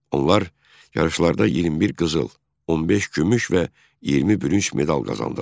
Onlar yarışlarda 21 qızıl, 15 gümüş və 20 bürünc medal qazandılar.